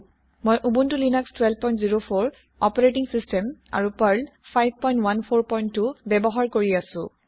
মই Ubuntu Linux 1204 operating system আৰু Perl ৫১৪২ ব্যৱহাৰ কৰি আছো